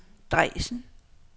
Dresden